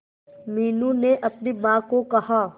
मीनू ने अपनी मां को कहा